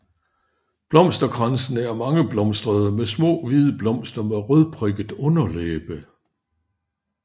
Blomsterkransene er mangeblomstrede med små hvide blomster med rødprikket underlæbe